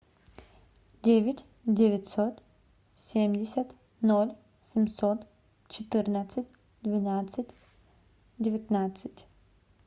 девять девятьсот семьдесят ноль семьсот четырнадцать двенадцать девятнадцать